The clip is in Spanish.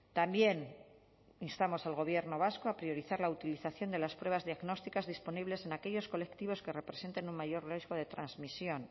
también instamos al gobierno vasco a priorizar la utilización de las pruebas diagnósticas disponibles en aquellos colectivos que representen un mayor riesgo de transmisión